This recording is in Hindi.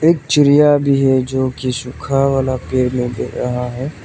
एक चिड़िया भी है जो की सुखा वाला पेड़ में दिख रहा है।